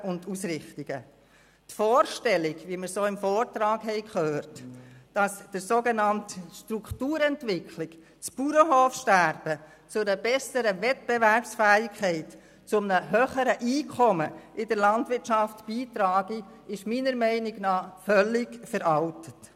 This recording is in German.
Die Vorstellung, wie wir sie auch im Vortrag hörten, dass die sogenannte Strukturentwicklung das Bauernhofsterben zu einer besseren Wettbewerbsfähigkeit, zu höheren Einkommen in der Landwirtschaft beitrage, ist meiner Meinung nach völlig veraltet.